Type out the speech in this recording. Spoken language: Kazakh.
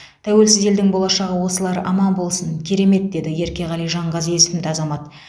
тәуелсіз елдің болашағы осылар аман болсын керемет деді еркеғали жанғазы есімді азамат